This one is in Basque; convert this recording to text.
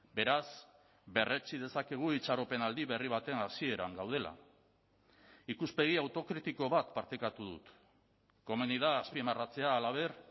beraz berretsi dezakegu itxaropenaldi berri baten hasieran gaudela ikuspegi autokritiko bat partekatu dut komeni da azpimarratzea halaber